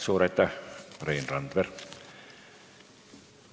Suur aitäh, Rein Randver!